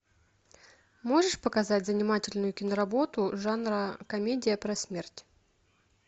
можешь показать занимательную киноработу жанра комедия про смерть